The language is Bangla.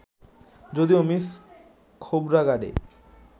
যদিও মিস খোবরাগাডে